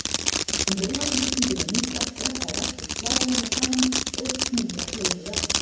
Um leið og þrýstingurinn minnkar skreppa veggir slagæðanna saman og knýja blóðið áfram.